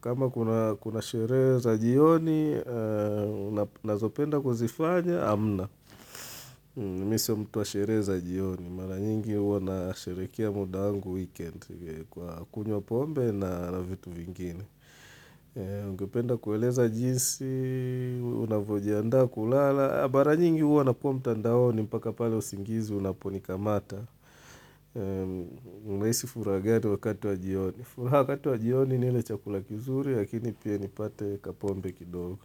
Kama kuna sherehe za jioni, nazopenda kuzifanya hamna. Mimi sio mtu wa sherehe za jioni. Mara nyingi huwa nasherekea muda wangu weekend kwa kunywa pombe na vitu vingine. Ungependa kueleza jinsi unavyojiandaa kulala Mara nyingi huwa nakuwa mtandaoni mpaka pale usingizi unaponikamata. Unahisi furaha gani wakati wa jioni? Furaha wakati wa jioni ni ile chakula kizuri, lakini pia nipate kapombe kidogo.